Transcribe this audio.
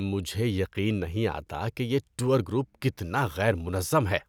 مجھے یقین نہیں آتا کہ یہ ٹور گروپ کتنا غیر منظم ہے۔